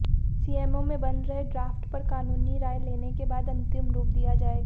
CMO में बन रहे ड्रॉफ्ट पर कानूनी राय लेने के बाद अंतिम रूप दिया जाएगा